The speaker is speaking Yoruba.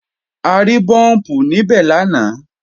A rí búùmpù níbẹ̀ lánàá